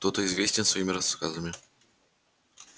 кто-то известен своими рассказами